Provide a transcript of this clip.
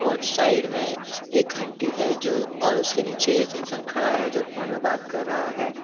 Side में एक घंटी है जो और उसके नीचे एक इंसान खड़ा है जो फोन में बात कर रहा है।